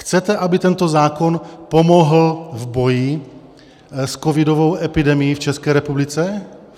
Chcete, aby tento zákon pomohl v boji s covidovou epidemií v České republice?